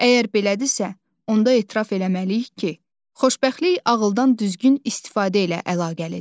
Əgər belədirsə, onda etiraf eləməliyik ki, xoşbəxtlik ağıldan düzgün istifadə ilə əlaqəlidir.